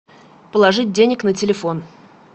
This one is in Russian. положить денег на телефон